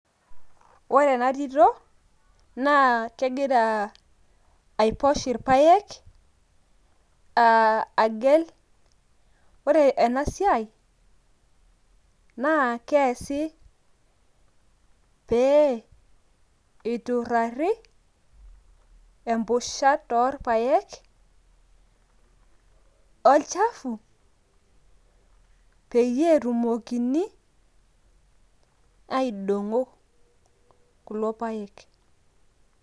ore ena tito naa kegira aiposh irpaek agel, ore ena siai naa kesi pee eiturari empusha toorpaek olchafu peyie etumokini aidong'o kulo paek.